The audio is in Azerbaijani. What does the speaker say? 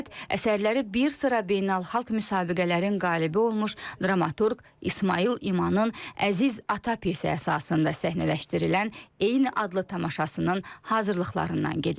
Söhbət əsərləri bir sıra beynəlxalq müsabiqələrin qalibi olmuş dramaturq İsmayıl İmanın əziz atası əsasında səhnələşdirilən eyni adlı tamaşanın hazırlıqlarından gedir.